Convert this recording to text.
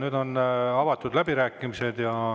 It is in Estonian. Nüüd on avatud läbirääkimised.